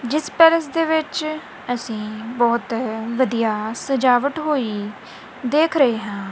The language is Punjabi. ਜਿਸ ਪੈਲਸ ਦੇ ਵਿੱਚ ਅਸੀਂ ਬਹੁਤ ਵਧੀਆ ਸਜਾਵਟ ਹੋਈ ਦੇਖ ਰਹੇ ਹਾਂ।